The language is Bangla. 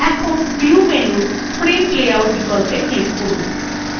এখন view menu print layout বিকল্পে click করুন